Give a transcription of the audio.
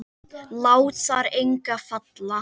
Lát þar enga falla.